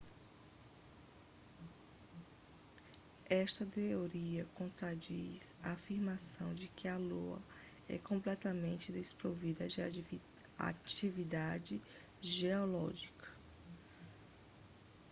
esta teoria contradiz a afirmação de que a lua é completamente desprovida de atividade geológica